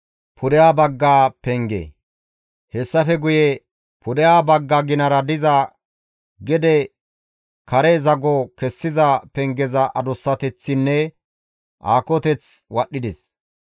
Hessafe guye pudeha bagga ginara diza gede kare zago kessiza pengeza adussateththinne aakoteth wadhdhides.